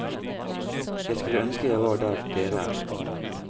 Jeg skulle ønske jeg var der dere er.